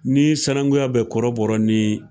Ni sanakunya be kɔrɔbɔrɔ ni